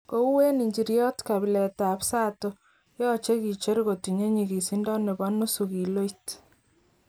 Kou eng injiryot kabilet tab sato yoche kicher kotinye nyigisindo nebo nusu kiloit.